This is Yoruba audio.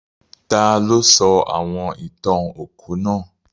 Taló sọ àwon ìtàn òkú náà?